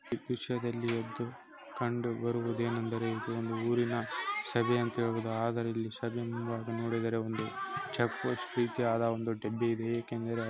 ಈ ದೃಶ್ಯದಲ್ಲಿ ಕಂಡೊ ಬರುವುದೆಂದೆರೆ ಇದು ಊರಿನ ಸಭೆ ಅಂತ ಹೇಳಬಹುದು . ಆದರೆ ಇಲ್ಲಿ ಸಭೆ ಮುಂಬಾಗ್ ನೋಡಿದರೆ ಇಲ್ಲಿ ಚೆಕ್ ಪೋಸ್ಟ್ ರೀತಿಯ ಡಿಮಿ ಇದೆ ಏಕೆಂದರೆ.